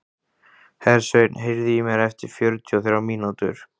Hersveinn, heyrðu í mér eftir fjörutíu og þrjár mínútur.